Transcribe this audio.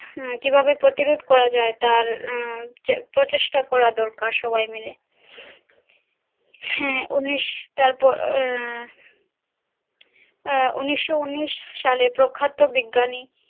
কি ভাবে প্রতিরোধ করা যায় আহ তার প্রচেষ্টা করা দরকার সবাই মিলে হাঁ উনিশ উনিশশো উনিশ সালে প্রখ্যাত বিজ্ঞানী